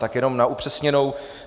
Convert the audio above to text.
Tak jenom na upřesněnou.